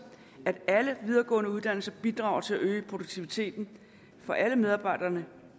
at alle videregående uddannelser bidrager til at øge produktiviteten for alle medarbejderne